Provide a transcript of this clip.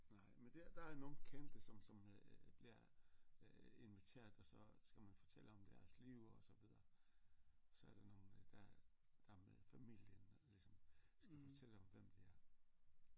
Nej men der der er nogle kendte som som øh bliver øh inviteret og så skal man fortælle om deres liv og så videre så er der nogle der er der er familien der ligesom skal fortælle om hvem de er